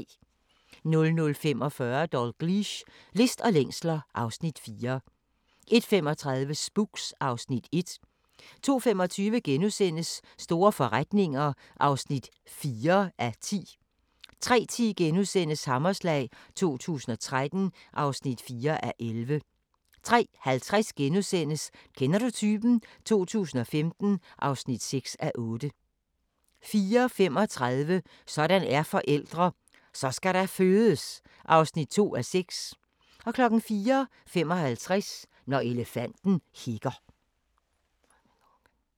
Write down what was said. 00:45: Dalgliesh: List og længsler (Afs. 4) 01:35: Spooks (Afs. 1) 02:25: Store forretninger (4:10)* 03:10: Hammerslag 2013 (4:11)* 03:50: Kender du typen? 2015 (6:8)* 04:35: Sådan er forældre – Så skal der fødes! (2:6) 04:55: Når elefanten hikker